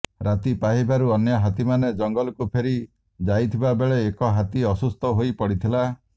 ରାତି ପାହିବାରୁ ଅନ୍ୟ ହାତୀମାନେ ଜଙ୍ଗଲକୁ ଫେରି ଯାଇଥିବା ବେଳେ ଏକ ହାତୀ ଅସୁସ୍ଥ ହୋଇ ପଡ଼ିଥିଲା